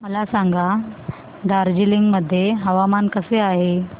मला सांगा दार्जिलिंग मध्ये हवामान कसे आहे